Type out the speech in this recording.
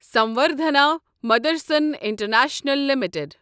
Samvardhana Motherson International limited